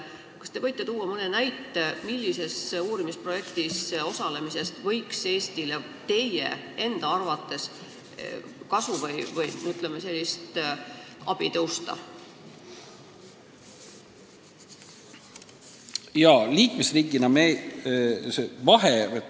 Kas te võite tuua mõne näite, millises uurimisprojektis osalemisest võiks Eesti teie arvates kasu või abi saada?